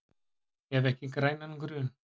Hef ekki grænan grun.